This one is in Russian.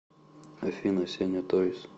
афина сеня тойз